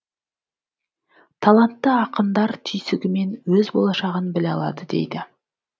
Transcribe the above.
талантты ақындар түйсігімен өз болашағын біле алады дейді